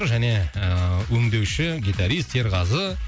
және ыыы өңдеуші гитарист серғазы